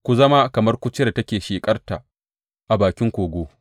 Ku zama kamar kurciyar da take sheƙarta a bakin kogo.